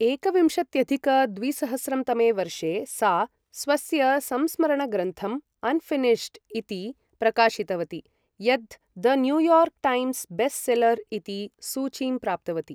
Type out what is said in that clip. एकविंशत्यधिक द्विसहस्रं तमे वर्षे सा स्वस्य संस्मरणग्रन्थं अनफिनिशड् इति प्रकाशितवती, यत् the New York Times best seller इति सूचीं प्राप्तवती ।